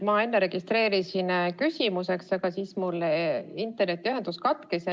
Ma enne registreerisin end küsimust esitama, aga siis mul internetiühendus katkes.